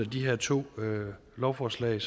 de her to lovforslag